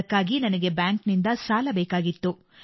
ಅದಕ್ಕಾಗಿ ನನಗೆ ಬ್ಯಾಂಕ್ನಿಂದ ಸಾಲ ಬೇಕಾಗಿತ್ತು